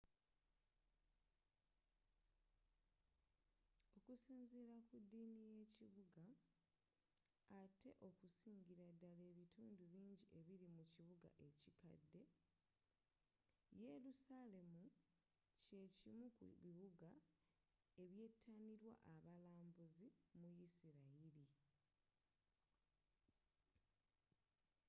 okusinzira ku ddini y'ekibuga atte okusingira ddala ebitundu bingi ebiri mu kibuga ekikadde yelusalemu kye kimu ku bibuga ebyetanirwa abalambuzi mu yisirayiri